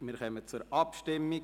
Wir kommen zur Abstimmung.